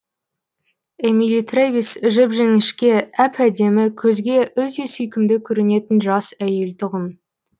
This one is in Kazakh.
эмили трэвис жіп жіңішке әп әдемі көзге өте сүйкімді көрінетін жас әйел тұғын